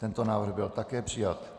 Tento návrh byl také přijat.